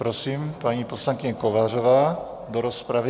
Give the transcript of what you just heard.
Prosím, paní poslankyně Kovářová do rozpravy.